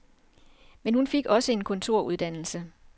Men hun fik også en kontoruddannelse.